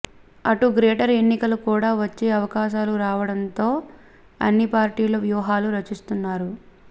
అటు గ్రేటర్ ఎన్నికలు కూడా వచ్చే అవకాశాలు రావడంతో అన్నిపార్టీలు వ్యూహాలు రచిస్తున్నారు